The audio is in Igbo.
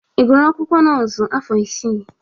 Ị gụrụ akwụkwọ nọọsụ afọ isii?